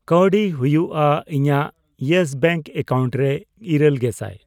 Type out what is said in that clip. ᱠᱟᱣᱰᱤ ᱦᱩᱭᱩᱜᱼᱟ ? ᱤᱧᱟᱜ ᱤᱭᱮᱥ ᱵᱮᱝᱠ ᱮᱠᱟᱣᱩᱱᱴ ᱨᱮ ᱤᱨᱟᱹᱞ ᱜᱮᱥᱟᱭ ?